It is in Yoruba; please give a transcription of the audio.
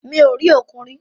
Mi ò rí òkun rí.